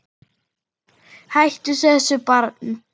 Hættu þessu barn!